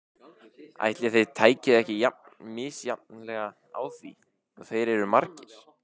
Ætli þeir tækju ekki jafn misjafnlega á því og þeir eru margir.